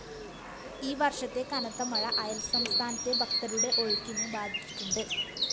ഈവര്‍ഷത്തെ കനത്തമഴ അയല്‍സംസ്ഥനത്തെ ഭക്തരുടെ ഒഴുക്കിനെ ബാധിച്ചിട്ടുണ്ട്